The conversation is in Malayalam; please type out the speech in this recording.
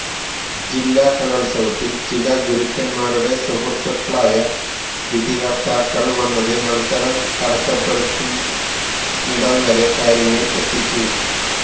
ജില്ലാ കലോത്സവത്തില് ചില ഗുരുക്കന്മാരുടെ സുഹൃത്തുക്കളായ വിധികര്ത്താക്കള് വന്നത് മത്സരം തടസ്സപ്പെടുത്തുന്നിടംവരെ കാര്യങ്ങള് എത്തിച്ചു